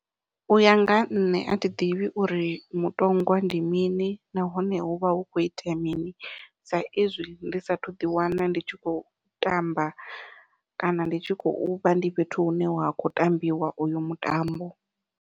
Uya nga ha nṋe athi ḓivhi uri mutongwa ndi mini nahone huvha hu khou itea mini sa izwi ndi sathu ḓi wana ndi tshi khou tamba kana ndi tshi khou vha ndi fhethu hune wa kho tambiwa uyo mutambo.